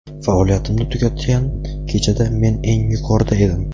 Faoliyatimni tugatgan kechada men eng yuqorida edim.